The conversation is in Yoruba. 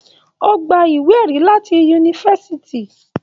O gbà ìwé ẹ̀rí láti Yunifásítì.